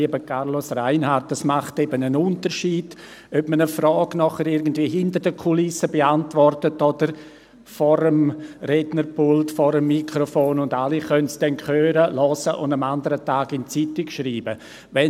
Lieber Carlos Reinhard, es macht eben einen Unterschied, ob man eine Frage hinter den Kulissen beantwortet oder vor dem Rednerpult, am Mikrofon, während alle zuhören und es am nächsten Tag in die Zeitung schreiben können.